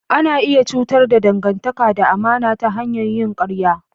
Ana iya cutar da dangantaka da amana ta hanyar yin ƙarya.